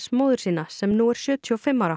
móður sína sem nú er sjötíu og fimm ára